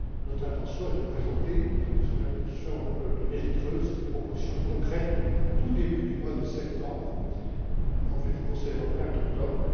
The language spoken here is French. Notre intention est de présenter, sous l'impulsion de Nellie Kroes, des propositions concrètes au tout début du mois de septembre, en vue du Conseil européen d'octobre.